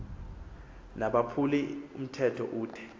nabaphuli mthetho ude